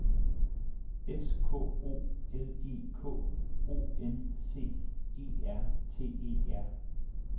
S K O L E K O N C E R T E R